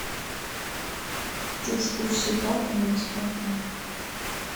экскурсии платные или бесплатные